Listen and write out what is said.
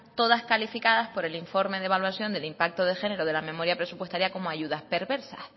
todas calificadas por el informe de evaluación del impacto de género de la memoria presupuestaria como ayudas perversas